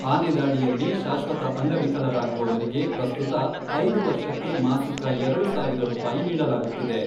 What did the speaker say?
ಆನೆ ದಾಳಿಯಲ್ಲಿ ಶಾಶ್ವತ ಅಂಗವಿಕಲರಾಗುವವರಿಗೆ ಪ್ರಸ್ತುತ ಐದು ವರ್ಷಕ್ಕೆ ಮಾಸಿಕ ಎರಡು ಸಾವಿರ ರೂಪಾಯಿ ನೀಡಲಾಗುತ್ತಿದೆ.